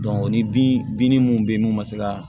ni bin binni munnu be yen n'u ma se ka